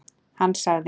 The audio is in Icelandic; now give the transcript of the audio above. Hann sagði.